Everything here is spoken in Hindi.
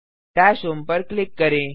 डैशहोम पर क्लिक करें